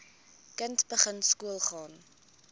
kind begin skoolgaan